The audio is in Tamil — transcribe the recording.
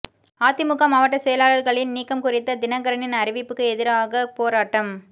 அதிமுக மாவட்ட செயலாளர்களின் நீக்கம் குறித்த தினகரனின் அறிவுப்புக்கு எதிராக போராட்டம்